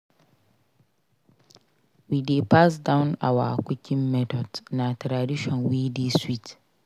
We dey pass down our cooking methods; na tradition wey dey sweet.